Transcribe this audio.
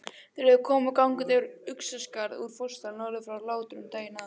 Þeir höfðu komið gangandi yfir Uxaskarð úr Fossdal norður frá Látrum daginn áður.